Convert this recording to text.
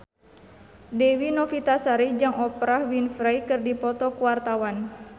Dewi Novitasari jeung Oprah Winfrey keur dipoto ku wartawan